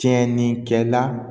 Tiɲɛnikɛla